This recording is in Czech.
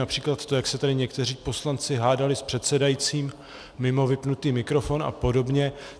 Například to, jak se tady někteří poslanci hádali s předsedajícím mimo vypnutý mikrofon a podobně.